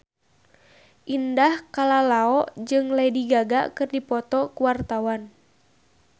Indah Kalalo jeung Lady Gaga keur dipoto ku wartawan